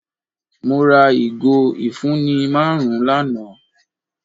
Mọ̀ rà igo ifunni màrùn lánà.